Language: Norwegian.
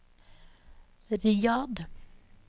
Riyadh